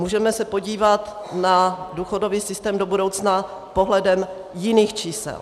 Můžeme se podívat na důchodový systém do budoucna pohledem jiných čísel.